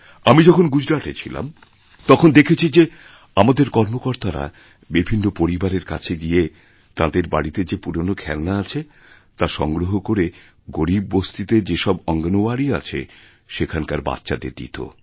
আমি যখন গুজরাটে ছিলাম তখন দেখেছি যে আমাদের কর্মকর্তারা বিভিন্নপরিবারের কাছে গিয়ে তাঁদের বাড়িতে যে পুরনো খেলনা আছে তা সংগ্রহ করে গরীব বস্তিতেযে সব অঙ্গণওয়ারি আছে সেখানকার বাচ্চাদের দিত